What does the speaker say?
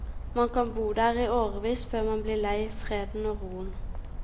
Man kan bo der i årevis før man blir lei freden og roen.